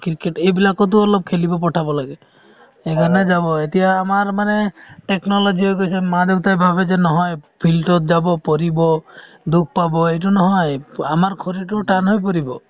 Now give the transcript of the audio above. এইবিলাক টো অলপমান খেলিব পঠাব লাগে এতিয়া আমাৰ মানে technology হৈ গৈছে মা দেউতাই ভাবে যে নহয় field ত যাব পাৰিব দুখ পাব এইটো নহয় আমাৰ শৰীৰ টোও টান হৈ পৰিব।